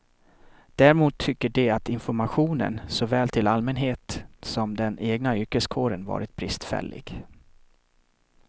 Däremot tycker de att informationen, såväl till allmänhet som den egna yrkeskåren, varit bristfällig.